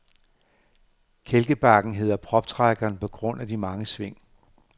Kælkebakken hedder proptrækkeren på grund af de mange sving.